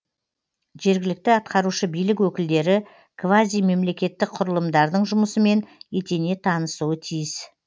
жергілікті атқарушы билік өкілдері квазимемлекеттік құрылымдардың жұмысымен етене танысуы тиіс